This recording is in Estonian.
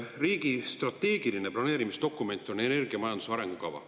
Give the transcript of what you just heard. Riigi strateegiline planeerimisdokument on energiamajanduse arengukava.